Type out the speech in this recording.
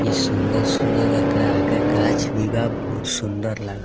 इ सुंदर-सुंदर एकरा आगे गाछ भी बा बहुत सुंदर लाग --